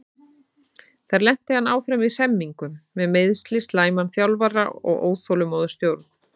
Þar lenti hann áfram í hremmingum með meiðsli, slæman þjálfara og óþolinmóða stjórn.